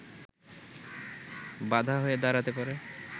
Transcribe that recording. বাধা হয়ে দাঁড়াতে পারে